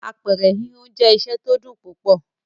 Apẹ̀rẹ̀ híhun jẹ́ iṣẹ́ tó dùn púpọ̀.